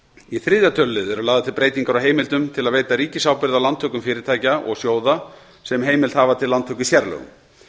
í þriðja tölulið eru lagðar til breytingar á heimildum til að veita ríkisábyrgð á lántökum fyrirtækja og sjóða sem heimild hafa til lántöku í sérlögum